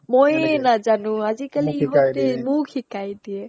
ময়ে নাজানো আজিকালি ইহতে মোক শিকাই দিয়ে